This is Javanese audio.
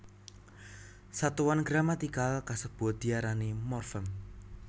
Satuan gramatikal kasebut diarani morfem